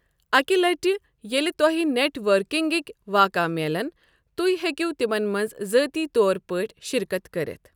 اکہ لٹہِ ییٚلہ تۄہہ نیٹ ورکنگٕکۍ واقعہٕ میلن، تُہۍ ہیٚکو تِمن منٛز ذٲتی طور پٲٹھۍ شرکت کٔرِتھ۔.